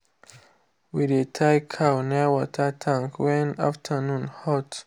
we dey tie cow near water tank when afternoon hot.